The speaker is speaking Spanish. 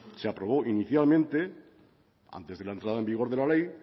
se aprobó inicialmente antes de la entrada en vigor de la ley